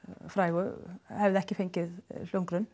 frægu hafi ekki fengið hljómgrunn